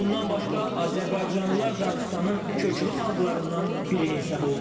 Bundan başqa azərbaycanlılar Dağıstanın köklü xalqlarından biri hesab olunur.